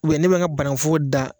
ne bɛ nka bannkun foro da.